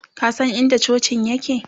ka San in da cocin yake?